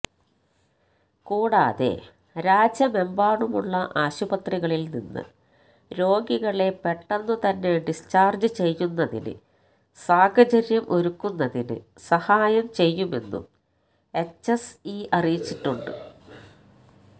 കൂടാതെ രാജ്യമെമ്പാടുമുള്ള ആശുപത്രികളിൽ നിന്ന് രോഗികളെ പെട്ടെന്നു തന്നെ ഡിസ്ചാർജ് ചെയ്യുന്നതിന് സാഹചര്യം ഒരുക്കുന്നതിന് സഹായം ചെയ്യുമെന്നും എച്ച്എസ്ഇ അറിയിച്ചിട്ടുണ്ട്